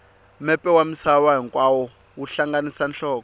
mepe wa misava hinkwayo wu hlanganisa nhloko